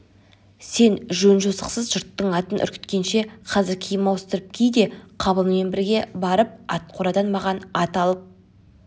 сен жөн-жосықсыз жұрттың атын үркіткенше қазір киім ауыстырып ки де қабылмен бірге барып ат қорадан маған ат алып